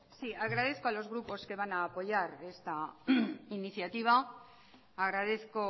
sí agradezco al os grupos que van a apoyar esta iniciativa agradezco